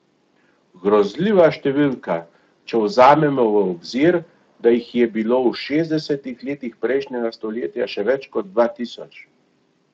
Grozljiva številka, če vzamemo v obzir, da jih je bilo v šestdesetih letih prejšnjega stoletja še več kot dva tisoč.